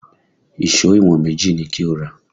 Ìṣó ìwọ̀n méjì ni kí o rà!